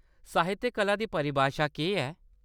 साहित्यक कला दी परिभाशा केह्‌‌ ऐ ?